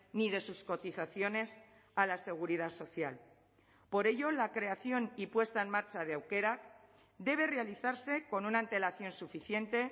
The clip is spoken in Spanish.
ni de sus cotizaciones a la seguridad social por ello la creación y puesta en marcha de aukerak debe realizarse con una antelación suficiente